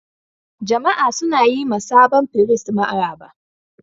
Jama'a suna yi ma sabon firist maraba.